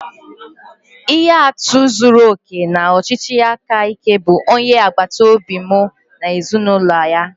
Ihe atụ zuru oke nke ọchịchị aka ike bụ onye agbata obi m na ezinụlọ ya